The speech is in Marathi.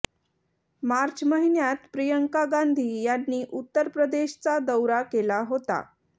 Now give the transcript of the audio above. मार्च महिन्यात प्रियंका गांधी यांनी उत्तर प्रदेशचा दौरा केला होता